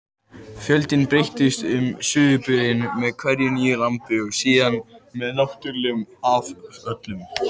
Fjöldinn breytist um sauðburðinn með hverju nýju lambi og síðan með náttúrulegum afföllum.